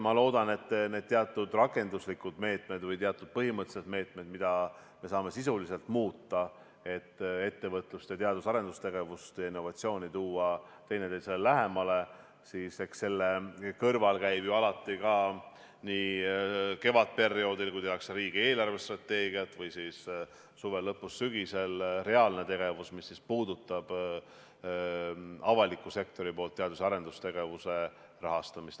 Ma loodan, et nende teatud rakenduslike meetmete või põhimõtteliste meetmete kõrval, mida me saame sisuliselt muuta, et ettevõtlust ning teadus- ja arendustegevust ja innovatsiooni tuua teineteisele lähemale, käib ju alati kevadperioodil, kui tehakse riigi eelarvestrateegiat, või siis suve lõpus ja sügisel reaalne tegevus, mis puudutab avaliku sektori poolt teadus- ja arendustegevuse rahastamist.